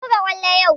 Mun buga kwallo yau